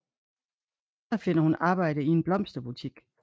Her finder hun arbejde i en blomsterbutik